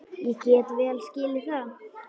Ég get vel skilið það.